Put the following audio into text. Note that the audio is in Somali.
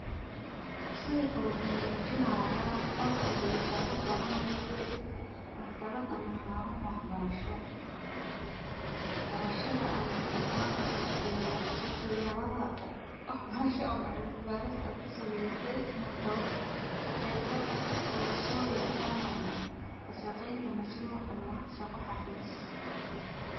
Sawirka wuxuu mujinayaa qol konbitaro badan u eg maktabad ama xarun wax barasho, barashaada software dha wax barasha ama cilmi baris ee ku sameyse korsoyin online ah mashruc ama shaqo xafis.